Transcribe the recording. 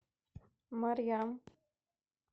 марьям